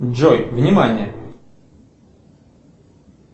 джой внимание